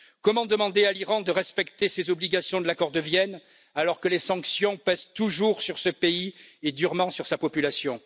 Comment demander à l'Iran de respecter ses obligations de l'accord de Vienne, alors que les sanctions pèsent toujours sur ce pays et durement sur sa population?